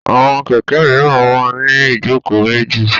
Àwọn kẹ̀kẹ́ míràn máa ń ní ìjókòó méjì.